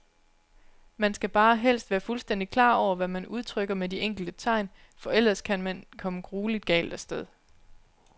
Man skal bare helst være fuldstændigt klar over, hvad man udtrykker med de enkelte tegn, for ellers kan man komme grueligt galt af sted.